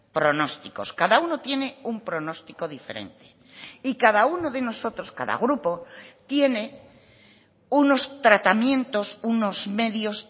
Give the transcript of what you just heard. pronósticos cada uno tiene un pronóstico diferente y cada uno de nosotros cada grupo tiene unos tratamientos unos medios